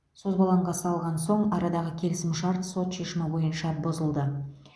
созбалаңға салған соң арадағы келісімшарт сот шешімі бойынша бұзылды